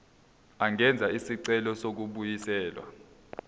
angenza isicelo sokubuyiselwa